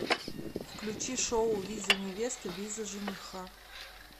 включи шоу виза невесты виза жениха